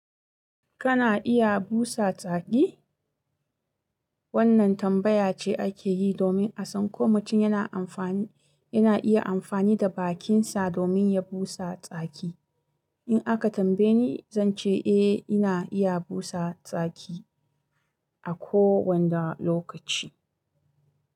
Kana iya busa tsaki? Wannan tambaya ce ake yi domin a san ko mutum yana amfani, yana iya amfani da bakinsa domin ya busa tsaki. In aka tambaye ni, zan ce eh ina iya busa tsaki a kowane lokaci.